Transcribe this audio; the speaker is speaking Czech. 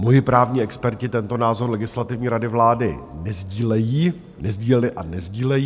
Moji právní experti tento názor Legislativní rady vlády nesdílejí, nesdíleli a nesdílejí.